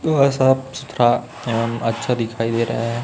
साफ सुथरा एवं अच्छा दिखाई दे रहा है।